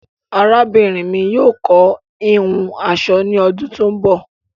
Àràbínrin mi yóò kọ̀ hìhùn aṣọ ni ọdún tó ń bọ